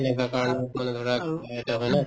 এনেকুৱা কাৰণত মানে ধৰা